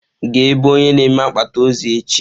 Gaa ebe onye na-eme akpati ozu echi.